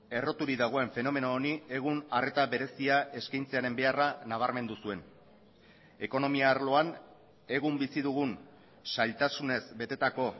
erroturik dagoen fenomeno honi egun arreta berezia eskaintzearen beharra nabarmen duzuen ekonomia arloan egun bizi dugun zailtasunez betetako